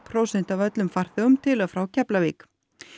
prósent af öllum farþegum til og frá Keflavík